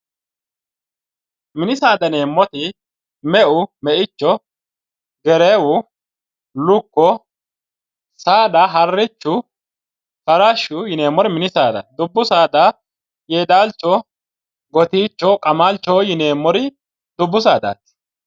Minninna dubbu saada:-mini saada yineemmoti meu meicho gereewu lukko saada harichu farashshu yineemmori mini saadaati dubbu saada yedaalcho gotiichu qamalicho dubbu sadaati